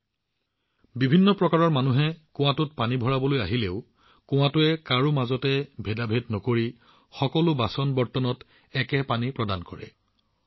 যাৰ অৰ্থ হৈছে পানী আনিবলৈ কুঁৱালৈ অহা অজস্ৰ ধৰণৰ লোক থাকিব পাৰে কিন্তু কুঁৱাটোৱে কাকো পৃথক ব্যৱহাৰ নকৰে সকলো বাচনবৰ্তনত একেই পানী থাকে